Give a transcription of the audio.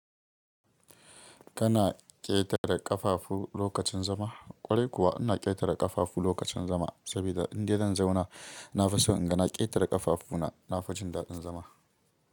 Kana ƙetare ƙafafu lokacin zama? Kwarai kuwa ina ƙetare ƙafafu lokacin zama, saboda indai zan zauna na fi so in ga na ƙetare ƙafafu na nafi jin daɗin zama.